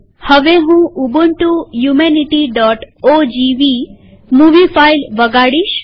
હવે હું ઉબુન્ટુ યુમેનીટીઓજીવી મુવી ફાઈલ વગાડીશ